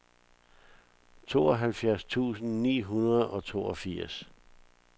tooghalvfjerds tusind ni hundrede og toogfirs